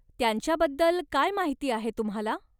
त्यांच्याबद्दल काय माहिती आहे तुम्हाला?